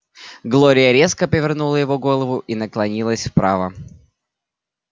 глория резко повернула его голову и наклонилась вправо